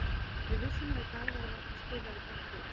Við vissum að í dag værum við að fara spila við gott lið.